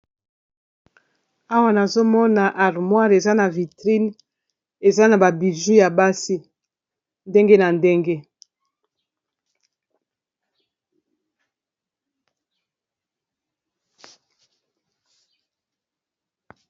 Awa nazomona armoire eza na vitrine eza na ba bijou ya basi ndenge na ndenge.